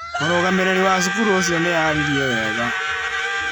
Mũrũgamĩrĩri wa cukuru ũcio nĩ aaririe wega.